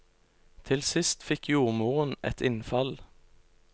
Til sist fikk jordmoren et innfall.